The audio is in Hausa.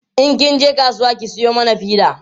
in kin je kasuwa ki Sayo mana fida